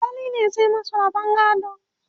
alkali ne zai masu rabon gado